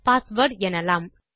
password எனலாம்